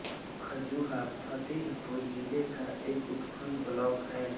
खजुहा फतेहपुर जिले का एक उपखंड ब्लॉक है